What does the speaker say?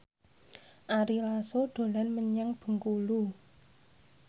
Ari Lasso dolan menyang Bengkulu